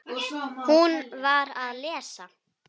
Hún var að lesa